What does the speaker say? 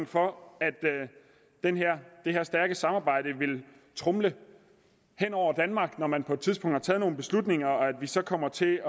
for at det her stærke samarbejde vil tromle hen over danmark når man på et tidspunkt har taget nogle beslutninger så kommer til